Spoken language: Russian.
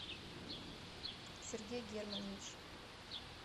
сергей германович